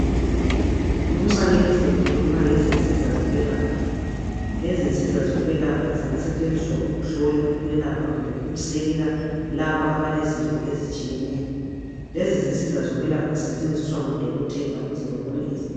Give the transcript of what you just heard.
Lumfanekiso ukhuluma ngezinsiza zokwelapha, lezinsiza zokwelapha zingasetshenziswa ukuhlola ukwelapha kumbe ukusekela labo abalezifo ezitshiyeneyo. Lezi zinsiza zokwelapha zisetshenziswa ngodokotela ukuze babone izifo.